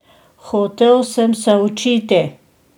Hotel sem se učiti!